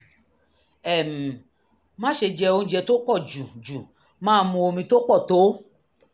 um má ṣe jẹ oúnjẹ tó pọ̀ jù jù máa mu omi tó pọ̀ tó